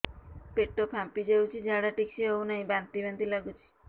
ପେଟ ଫାମ୍ପି ଯାଉଛି ଝାଡା ଠିକ ସେ ହଉନାହିଁ ବାନ୍ତି ବାନ୍ତି ଲଗୁଛି